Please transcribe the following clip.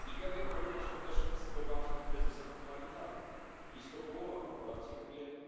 Nigeria boryka się też z poważnym kryzysem humanitarnym Blisko połowa populacji